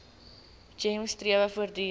gems strewe voortdurend